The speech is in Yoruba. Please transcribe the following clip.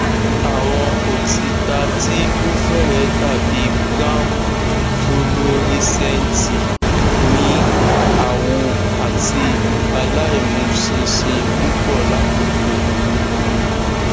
awon otita ti o fere dabi brown fuluorisenti mi awo ati alaimusinsin pupo lakoko oyun